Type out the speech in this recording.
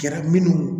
Kɛra minnu